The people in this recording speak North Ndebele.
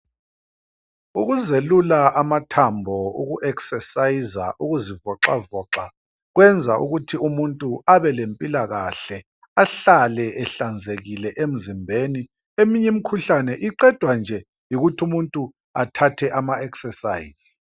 ukuzelula amathambo uku exerciser ukuzi voxavoxa kwena ukuthi umuntu abelempilakahle ahlale ehlanzekile emzimbeni eminye imkhuhlane iqedwa nje yikuthi umuntu athathe ma exercise